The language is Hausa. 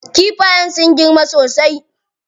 Kifayen sun girma sosai.